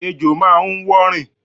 Ejò máa ń wọ́ rìn.